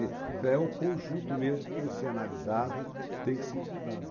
então é o conjunto mesmo que tem que ser analisado, tem que ser estudado.